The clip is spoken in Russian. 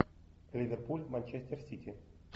ливерпуль манчестер сити